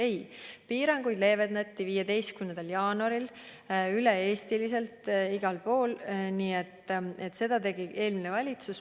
Ei, piiranguid leevendati 15. jaanuaril üle-eestiliselt igal pool ja seda tegi eelmine valitsus.